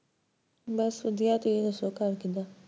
ਬਸ ਵਧੀਆ, ਤੁਸੀਂ ਦੱਸੋ ਘਰ ਕਿੱਦਾਂ?